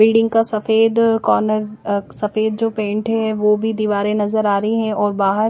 building क सफ़ेद corner अः सफ़ेद जो पेंट है वो भी दीवारे नज़र आरही है और बहार--